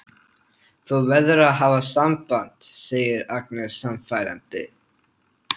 Þú verður að hafa samband, segir Agnes sannfærandi.